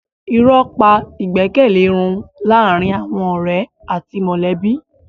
Irọ́ pa ìgbẹ́kẹ̀lé run láàárín àwọn ọ̀rẹ́ àti mọ̀lẹ́bí.